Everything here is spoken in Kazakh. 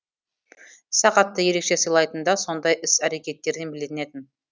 сағатты ерекше сыйлайтыны да сондай іс әрекеттерінен білінетін